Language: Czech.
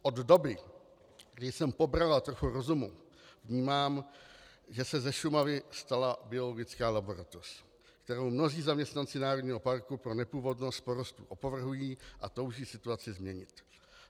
Od doby, kdy jsem pobrala trochu rozumu, vnímám, že se ze Šumavy stala biologická laboratoř, kterou mnozí zaměstnanci národního parku pro nepůvodnost porostů opovrhují a touží situaci změnit.